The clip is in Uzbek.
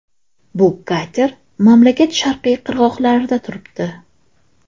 Bu kater mamlakat sharqiy qirg‘oqlarida turibdi.